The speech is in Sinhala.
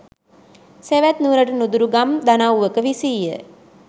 සැවැත් නුවරට නුදුරු ගම් දනව්වක විසීය.